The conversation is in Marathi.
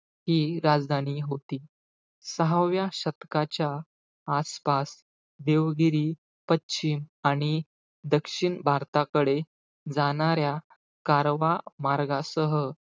ती राजधानी होती. सहाव्या शतकाच्या आसपास देवगिरी, पश्चिम आणि दक्षिण भारताकडे जाणाऱ्या, कारवा मार्गासह,